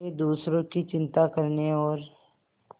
वे दूसरों की चिंता करने और